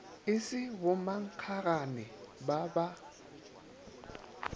e se bommankgagane ba ba